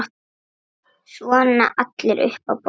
Svona allir upp á borð